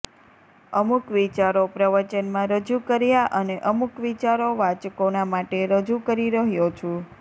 અમુક વિચારો પ્રવચનમાં રજૂ કર્યા અને અમુક વિચારો વાંચકોના માટે રજૂ કરી રહ્યો છું